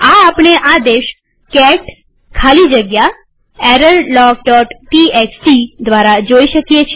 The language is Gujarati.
આ આપણે આ આદેશ કેટ ખાલી જગ્યા errorlogટીએક્સટી દ્વારા જોઈ શકીએ